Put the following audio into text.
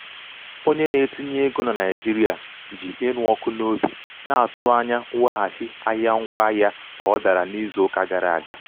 onye na-etinye um ego ego na naijiria ji ịnụ ọkụ n'obi na-atụ anya mweghachi ahịa ngwaahịa ahịa ka ọ dara n'izu uka gara aga.